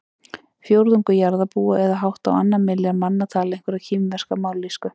Fjórðungur jarðarbúa eða hátt á annan milljarð manna tala einhverja kínverska mállýsku.